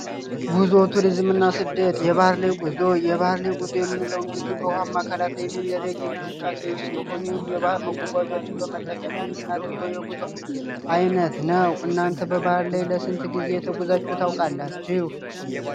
ጉዞ ፣ቱሪዝም እና ስደት የባህ ላይ ጉዞ የባህር ላይ ጉዞ የምንለው በባህር የሚደረግ እንቅስቃሴ ሲሆን የባህር መጓጓዣዎችን በመጠቀም የምናደርገው የጉዞ አይነት ነው። እናንተ በባህር ላይ ለስንት ጊዜ ተገዛችሁ ታውቃላችሁ?